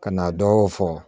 Ka na dɔw fɔ